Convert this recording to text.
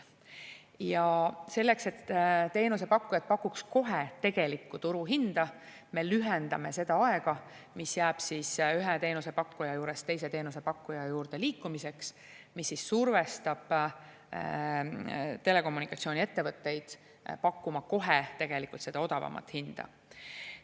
Ja selleks, et teenusepakkujad pakuks kohe tegelikku turuhinda, me lühendame seda aega, mis jääb ühe teenusepakkuja juurest teise teenusepakkuja juurde liikumiseks, mis survestab telekommunikatsiooniettevõtteid pakkuma kohe seda odavamat hinda.